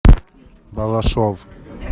балашов